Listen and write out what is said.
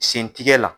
Sen tigɛ la